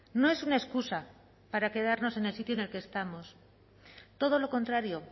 no es una excusa para quedarnos en el sitio en el que estamos todo lo contrario